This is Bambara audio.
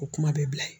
O kuma bɛ bila ye